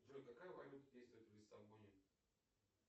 джой какая валюта действует в лиссабоне